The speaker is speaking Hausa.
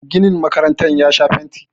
ginin makarantar ya Sha fenti